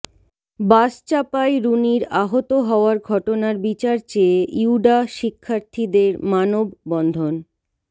বাসচাপায় রুনীর আহত হওয়ার ঘটনার বিচার চেয়ে ইউডা শিক্ষার্থীদের মানববন্ধন